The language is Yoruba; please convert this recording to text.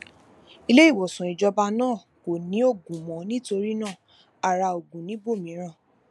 ileiwosan ìjọba náà kò ní oògùn mó nítorí náà a ra oògùn níbòmíràn